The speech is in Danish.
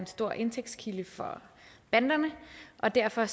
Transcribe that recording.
stor indtægtskilde for banderne og derfor